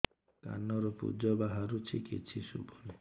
କାନରୁ ପୂଜ ବାହାରୁଛି କିଛି ଶୁଭୁନି